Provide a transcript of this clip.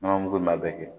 Nɔnɔ mugu in b'a bɛɛ kɛ